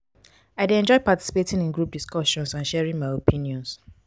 i dey enjoy participating in group discussions and sharing my opinions.